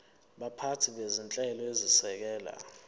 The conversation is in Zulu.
baphathi bezinhlelo ezisekela